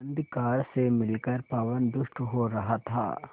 अंधकार से मिलकर पवन दुष्ट हो रहा था